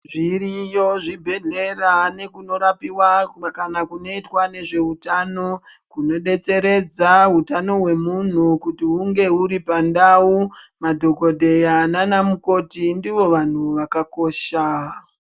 Zviriyo zvibhedhlera nekunorapiwa kana kunoitwa nezveutano, kunodetseredza hutano hwemunhu kuti hunge huri pandau. Madhokodheya nanamukoti ndivo vanhu vakakosha.